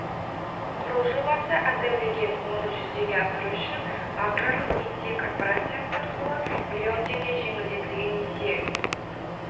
құру жобасы әзірлеген оны жүзеге асыру үшін аграрлық несие корпорациясы арқылы миллион теңге жеңілдетілген несие